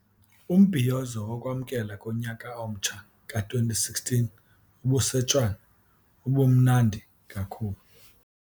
Umbhiyozo wokwamkela konyaka omtsha ka-2016 obuseTshwane ubumnandi kakhulu.